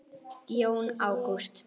Jón Ágúst.